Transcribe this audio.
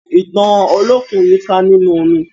Ìtàn Olókùn yika ninú omi.